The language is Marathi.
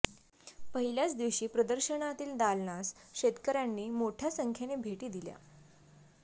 पहिल्याच दिवशी प्रदर्शनातील दालनास शेतकऱ्यांनी मोठ्या संख्येने भेटी दिल्या